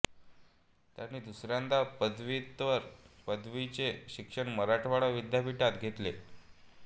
त्यांनी दुसऱ्यांदा पदवीत्तर पदवीचे शिक्षण मराठवाडा विद्यापीठात घेतले